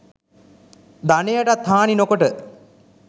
ධනයටත් හානි නොකොට